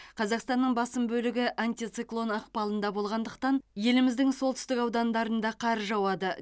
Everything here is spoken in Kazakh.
қазақстанның басым бөлігі антициклон ықпалында болғандықтан еліміздің солтүстік аудандарында қар жауады